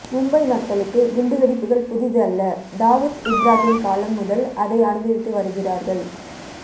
மும்பை மக்களுக்கு குண்டு வெடிப்புகள் புதிது அல்ல தாவுத் இப்ராகிம் காலம் முதல் அதை அனுபவித்து வருகிறார்கள்